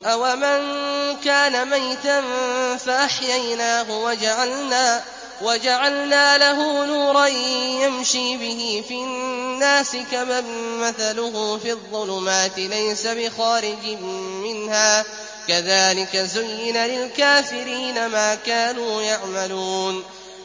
أَوَمَن كَانَ مَيْتًا فَأَحْيَيْنَاهُ وَجَعَلْنَا لَهُ نُورًا يَمْشِي بِهِ فِي النَّاسِ كَمَن مَّثَلُهُ فِي الظُّلُمَاتِ لَيْسَ بِخَارِجٍ مِّنْهَا ۚ كَذَٰلِكَ زُيِّنَ لِلْكَافِرِينَ مَا كَانُوا يَعْمَلُونَ